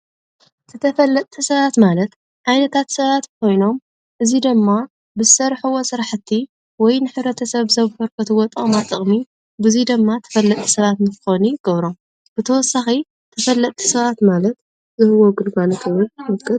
ተፈልጥቲ ሰባት ማለት ዓይነት ሰባት ኮይኖም እዚ ድማ ብዝሰርሕዎ ስራሕቲ ወይ ንሕብረተሰብ ሰብ ዘበርክትዎ ጠቅማ ጥቅሚ በዚ ድማ ትፈልጢ ሰባት ክኮኑ ይገብሮም። ብተወሳኪ ተፈለጥቲ ሰባት ማለት ዝህብዎ ግልጋሎት ምጥቃስ